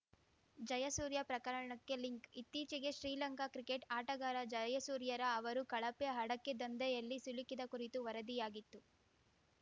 ಜಯಸೂರ್ಯ ಪ್ರಕರಣಕ್ಕೆ ಲಿಂಕ್‌ ಇತ್ತೀಚೆಗೆ ಶ್ರೀಲಂಕಾ ಕ್ರಿಕೆಟ್‌ ಆಟಗಾರ ಜಯಸೂರ್ಯರ ಅವರು ಕಳಪೆ ಹಡಕೆ ದಂಧೆಯಲ್ಲಿ ಸಿಲುಕಿದ ಕುರಿತು ವರದಿಯಾಗಿತ್ತು